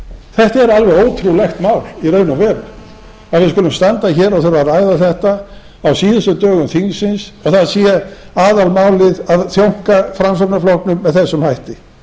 þetta er alveg ótrúlegt mál í raun og veru að við skulum standa hér og þurfa að ræða þetta á síðustu dögum þingsins að það sé aðalmálið að þjónka framsóknarflokknum með þessum hætti